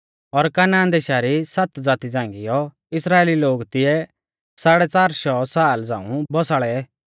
और कनान देशा री सात ज़ाती झ़ांगीयौ इस्राइली लोग तिऐ साड़ै च़ार शौ साला झ़ांऊ बौसाल़ै